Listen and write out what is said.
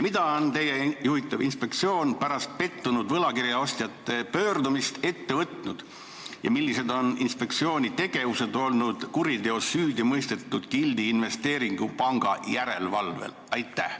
Mida on teie juhitav inspektsioon pärast pettunud võlakirjaostjate pöördumist ette võtnud ja millised on olnud inspektsiooni tegevused kuriteos süüdi mõistetud Gildi investeerimispanga järelevalvel?